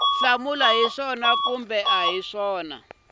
hlamula hi swona kumbe a